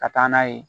Ka taa n'a ye